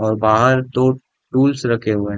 और बहार तो टूल्स रखे हुए --